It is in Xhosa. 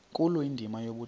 nkulu indima yobudoda